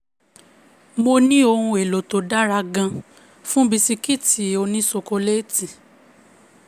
mo ní ohun èlò tó dára gan-an fún bisikì òní ṣokoléétì.